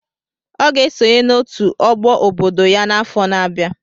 Ọ ga-esonye n'otu ọgbọ obodo ya n'afọ na-abịa.